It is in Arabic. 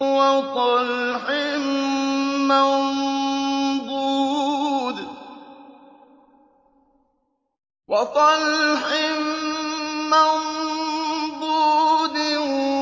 وَطَلْحٍ مَّنضُودٍ